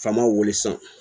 Faama wuli sisan